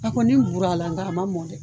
A kɔni burala nga a ma mɔ dɛ!.